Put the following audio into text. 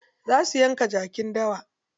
Za su yanka jakin dawa.